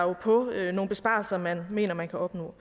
på nogle besparelser man mener man kan opnå